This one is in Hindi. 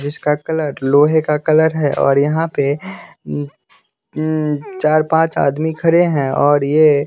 जिसका कलर लोहे का कलर है और यहाँ पे चार पांच आदमी खरे हैं और ये --